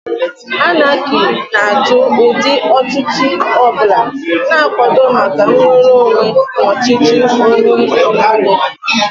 Anarchy na-ajụ ụdị ọchịchị ọ bụla, na-akwado maka nnwere onwe na ọchịchị onwe onye.